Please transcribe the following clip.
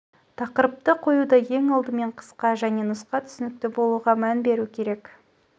тақырыпты қоюда ең алдымен қысқа және нұсқа түсінікті болуға мән беру керек